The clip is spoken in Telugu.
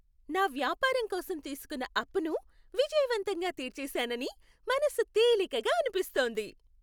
నా వ్యాపారం కోసం తీసుకున్న అప్పును విజయవంతంగా తీర్చేశానని మనసు తేలికగా అనిపిస్తోంది.